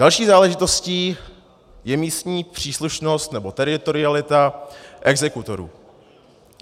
Další záležitostí je místní příslušnost nebo teritorialita exekutorů.